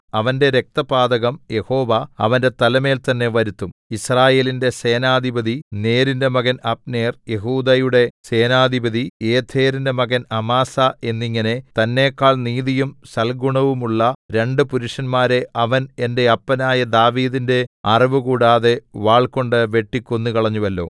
അവന്റെ രക്തപാതകം യഹോവ അവന്റെ തലമേൽ തന്നേ വരുത്തും യിസ്രായേലിന്റെ സേനാധിപതി നേരിന്റെ മകൻ അബ്നേർ യെഹൂദയുടെ സേനാധിപതി യേഥെരിന്റെ മകൻ അമാസാ എന്നിങ്ങനെ തന്നെക്കാൾ നീതിയും സൽഗുണവുമുള്ള രണ്ടു പുരുഷന്മാരെ അവൻ എന്റെ അപ്പനായ ദാവീദിന്റെ അറിവ് കൂടാതെ വാൾകൊണ്ട് വെട്ടിക്കൊന്നുകളഞ്ഞുവല്ലോ